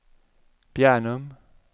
Bjärnum